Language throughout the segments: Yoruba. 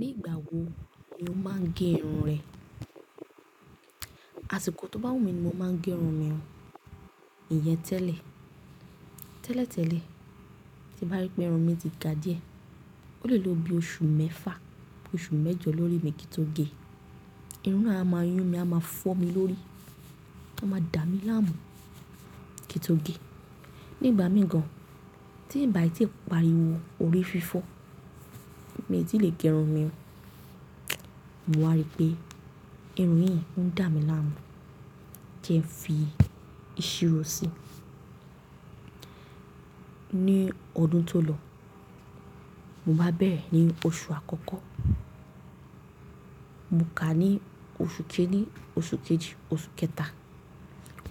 Nígbà wo ni o máa ń gẹ irun rẹ? Àṣìkò tó bá wù mí ni mo máa ń gẹ irun mi o. Iyẹn tẹ́lẹ̀, tẹ́lẹ̀ tẹ́lẹ̀ tí mo bá rí pé irun mi ti ga díẹ̀. O lè lọ bí oṣù mẹ́fà, oṣù mẹ́jọ lórí mi kí n tó gẹ. Irun náà á máa yún mi, á máa fọ́ mi lórí, ó máa dà mí láàmú kí n tó gẹ. Nígbà mìí gan, tí n bà tí parí wo, òrí fífọ́, mi tì lè gẹ irun mi o. Mo wá rí pé irun yìí ń dà mí láàmú kí n fi ìṣirò si. Ní ọdún tó lọ, mo bá bẹ̀rẹ̀ ní oṣù àkọ́kọ́, mo kà á ní oṣù kejì, oṣù kẹ́ta.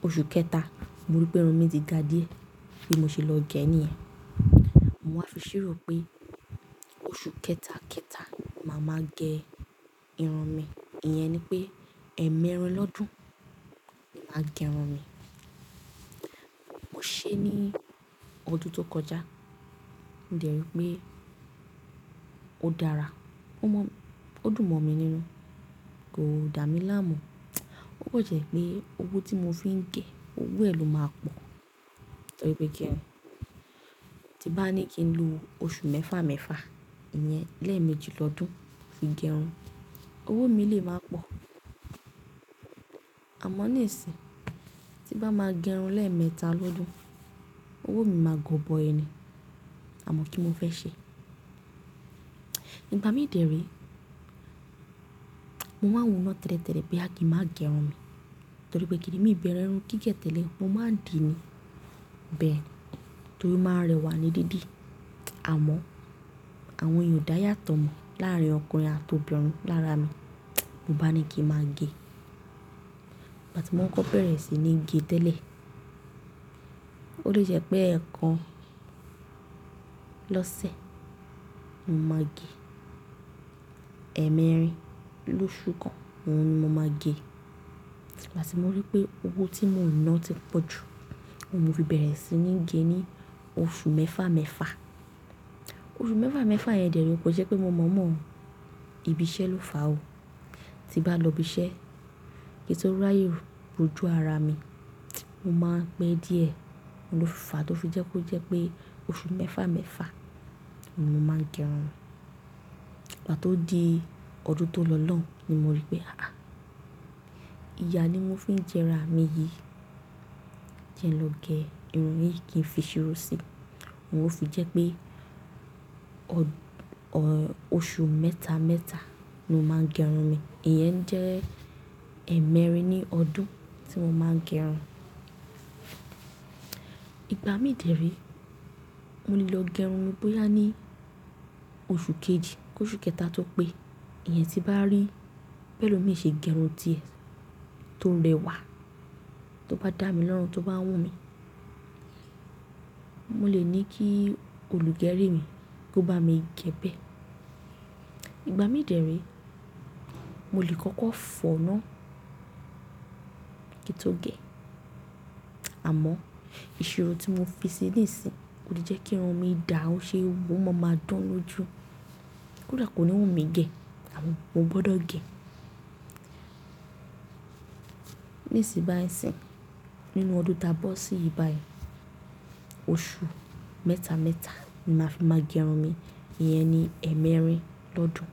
Oṣù kẹta mo rí pé irun mi ti ga díẹ̀ ni mo ṣe lọ gẹ ẹ́ níyẹn. Mo wá fi ṣírò pé oṣù kẹta, kẹta màá máa gẹ irun mi. Iyẹn ni pé ẹ̀mẹ́rin lọ́dún màá gẹ irun mi. Mo ṣe é ní ọdún tó kọjá. Mo dẹ̀ rí pé ó dára, ó mọ̀, ó dùn mọ́ mi nínú, kò dà mí láàmú. Ó kan jẹ́ pé owó tí mo fi ń gẹ, owó ẹ̀ ló máa pọ̀ torí pé kíni, tí bá ní kí n lo oṣù mẹ́fà, mẹ́fà, iyẹn lé méjì lọ́dún fi gẹ irun, owó mi lè máa pọ̀. Àmọ́ ní ìsìn, tí bá máa gẹ irun lẹ́ẹ̀mẹta lọ́dún, owó mi máa gbó bọ ẹni, àmọ́ kíni mo fẹ́ ṣe? Ìgbà mí dẹ̀ rí, mo máa wo ná tẹ́lẹ̀tẹ́lẹ̀ pé kí n máa gẹ irun mi torí pé kíni mi bẹrẹ irun gígẹ̀ tẹ́lẹ̀, mo máa ń di ni bẹ̀ ẹ́n torí máa rẹwà ní dídì. Àmọ́ àwọn eeyan oda yàtọ̀ mọ́ láàárín ọkùnrin àti obìnrin. Lára mi, mo bá ni kí n máa gẹ. Ìgbà tí mo ń kọ́ bẹ̀rẹ̀ sí ní gẹ tẹ́lẹ̀, ó lè jẹ́ pé ẹ̀kan lọ́sẹ̀, màá gẹ. Ẹ́mẹ́rin lóṣù kan o ni mo máa gẹ. Ìgbà tí mo rí pé owó tí mò ń ná ti pọ̀ jù, oun mo fi bẹ̀rẹ̀ sí ní gẹ ní oṣù mẹ́fà, mẹ́fà. Oṣù mẹ́fà, mẹ́fà yẹn dẹ̀ rí ko n se pé mo mọ̀ mọ̀ ibí iṣẹ́ ló fà ó. Ti bá lọ ibiṣẹ́ kí n tó ráyè rojú ara mi, mo máa ń pẹ́ díẹ̀. Òun ló fà á tó fi jẹ́ kó jẹ́ pé oṣù mẹ́fà, mẹ́fà ni mo máa ń gẹ irun. Ìgbà tó di ọdún tó lọ náà ni mo rí pé àáà, ìyà ni mo fi ń jẹ'ra mi yìí kí n lọ gẹ irun yìí kí n fi ìṣirò si. Mo fi jẹ́ pé ọ-- oṣù mẹ́ta, mẹ́ta ni mo máa ń gẹ irun mi. Iyẹn jẹ́ ẹ̀mẹ́rin ní ọdún tí mo máa ń gẹ irun. Ìgbà mí dẹ̀ rí, mo lè lọ gẹ irun mi bóyá ní oṣù kejì koṣú kẹta tó pé. Iyẹn tí bá rí b'elomii ṣe gẹ irun tíẹ̀ tó rẹwà, tó bá dà mi lọ́run, tó bá wù mí, mo lè ní kí olùgẹrí mi kó bá mi gẹ bẹ́ẹ̀. Ìgbà mí dẹ̀ rí, mo lè kọ́kọ́ fọ̀ náà kí n tó gẹ. Àmọ́ ìṣirò tí mo fi sí nisìn kò lè jẹ́ kí irun mi dà, ó ṣe wò mo máa dán lóju. Kódà kò ní wù mí gẹ àmọ́ mo gbọdọ̀ gẹ. Nísìbàísìn nínú ọdún ta bọ́ sí yìí báyìí, oṣù mẹ́ta, mẹ́ta ni màá fi máa gẹ irun mi. Iyẹn ni ẹ̀mẹ́rin lọ́dún.